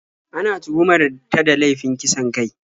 Ana tuhumar ta da laifin kisan kai.